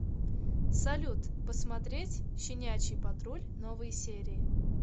салют посмотреть щенячий патруль новые серии